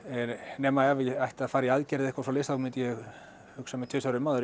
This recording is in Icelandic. nema ef ég ætti að fara í aðgerð eða eitthvað svoleiðis þá myndi ég hugsa mig tvisvar um áður